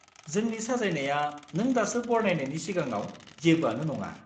जोंनि साजायनाया नों दासो बरनायनायनि सिगाङाव जेबोआनो नङा।